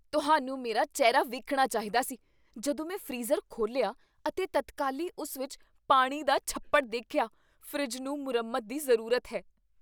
ਤੁਹਾਨੂੰ ਮੇਰਾ ਚਿਹਰਾ ਵੇਖਣਾ ਚਾਹੀਦਾ ਸੀ ਜਦੋਂ ਮੈਂ ਫ੍ਰੀਜ਼ਰ ਖੋਲ੍ਹਿਆ ਅਤੇ ਤਤਕਾਲੀ ਉਸ ਵਿੱਚ ਪਾਣੀ ਦਾ ਛੱਪੜ ਦੇਖਿਆ। ਫਰਿੱਜ ਨੂੰ ਮੁਰੰਮਤ ਦੀ ਜ਼ਰੂਰਤ ਹੈ।